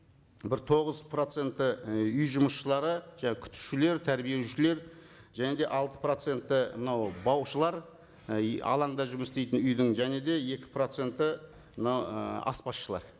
бір тоғыз проценті і үй жұмысшылары жаңа күтушілер тәрбиешілер және де алты проценті мынау баушылар і и алаңда жұмыс істейтін үйдің және де екі проценті мынау і аспазшылар